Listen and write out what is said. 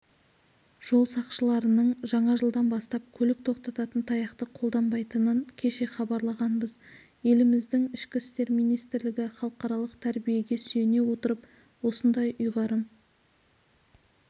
жол сақшыларының жаңа жылдан бастап көлік тоқтататын таяқты қолданбайтынын кеше хабарлағанбыз еліміздің ішкі істер министрлігі халықаралық тәжірибеге сүйене отырып осындай ұйғарым